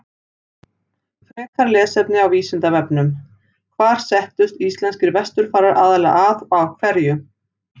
Frekara lesefni á Vísindavefnum: Hvar settust íslenskir vesturfarar aðallega að og af hverju?